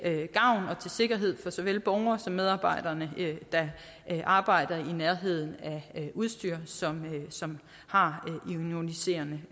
sikkerhed for såvel borgere som medarbejdere der arbejder i nærheden af udstyr som som har